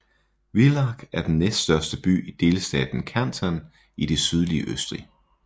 Villach er den næststørste by i delstaten Kärnten i det sydlige Østrig